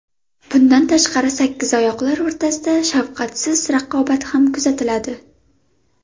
Bundan tashqari, sakkizoyoqlar o‘rtasida shafqatsiz raqobat ham kuzatiladi.